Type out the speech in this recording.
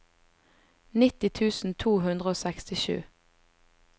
nitti tusen to hundre og sekstisju